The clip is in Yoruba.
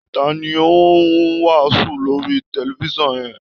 Ta ni ó ń wàásù lórí tẹlifiṣàn yẹn?